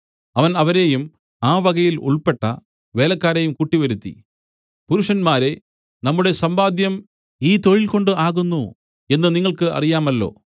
അവൻ അവരെയും ആ വകയിൽ ഉൾപ്പെട്ട വേലക്കാരെയും കൂട്ടിവരുത്തി പുരുഷന്മാരേ നമ്മുടെ സമ്പാദ്യം ഈ തൊഴിൽകൊണ്ട് ആകുന്നു എന്ന് നിങ്ങൾക്ക് അറിയാമല്ലോ